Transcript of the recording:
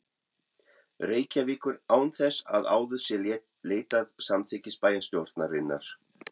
Reykjavíkur, án þess að áður sé leitað samþykkis bæjarstjórnarinnar.